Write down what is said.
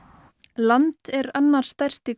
land er annar stærsti